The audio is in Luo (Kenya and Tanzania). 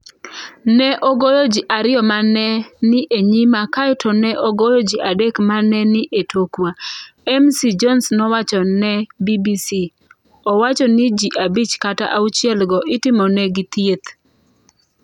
“Ne ogoyo ji ariyo ma ne ni e nyima kae to ne ogoyo ji adek ma ne ni e tokwa,” Ms Jones nowacho ne BBC. Owacho ni ji abich kata auchielgo itimonegi thieth.